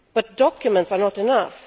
But documents are not enough.